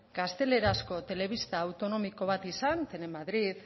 gaztelerazko telebista autonomiko bat izan telemadrid